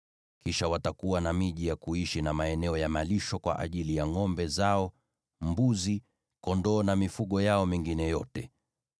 Kisha watakuwa na miji ya kuishi na maeneo ya malisho kwa ajili ya ngʼombe zao, mbuzi, kondoo na mifugo yao mingine yote.